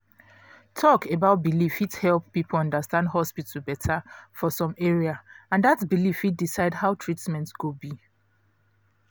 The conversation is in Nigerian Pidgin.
talk about belief fit help people understand hospital better for some area and that belief fit decide how treatment go be